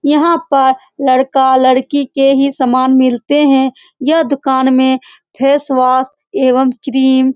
यहां पर लड़का-लड़की के ही सामान मिलते हैं यह दुकान में फेसवास एवं क्रीम --